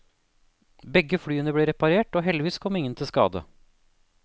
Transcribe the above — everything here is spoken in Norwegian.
Begge flyene ble reparert og heldigvis kom ingen til skade.